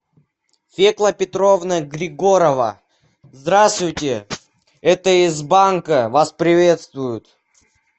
фекла петровна григорова здравствуйте это из банка вас приветствуют